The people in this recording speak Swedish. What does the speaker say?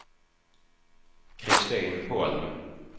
Kristin Holm